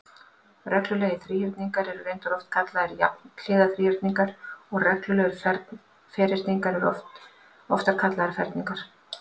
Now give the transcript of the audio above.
Reglulegir þríhyrningar eru reyndar oftar kallaðir jafnhliða þríhyrningar og reglulegir ferhyrningar eru oftar kallaðir ferningar.